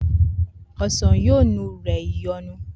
osan yoo nu rẹ Ìyọnu.